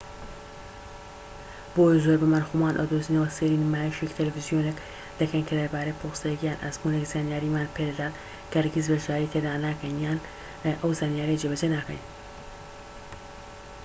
بۆیە زۆربەمان خۆمان ئەدۆزینەوە سەیری نمایشێکی تەلەفزیۆنێک دەکەین کە دەربارەی پرۆسەیەک یان ئەزموونێک زانیاریمان پێدەدات کە هەرگیز بەشداری تێدا ناکەین یان ئەو زانیاریە جێبەجێ ناکەین